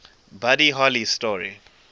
buddy holly story